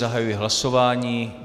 Zahajuji hlasování.